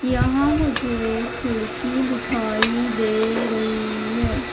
यहां मुझे खिड़की दिखाई दे रही है।